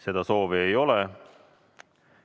Seda soovi ei ole.